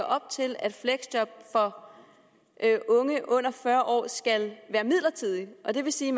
op til at fleksjob for unge under fyrre år skal være midlertidigt det vil sige